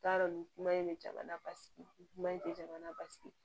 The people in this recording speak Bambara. N t'a dɔn nin kuma in bɛ jamana basigi kuma in tɛ jamana basigi